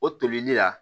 O tolili la